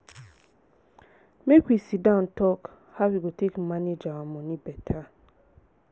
make we sit down tok how we go take manage our moni beta.